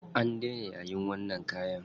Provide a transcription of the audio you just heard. An daina yayin wannan kayan.